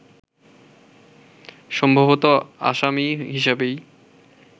সম্ভবত আসামি হিসেবেই